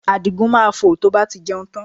Àdìgún máa fò tí ó bá ti jẹun tán